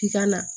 K'i ka na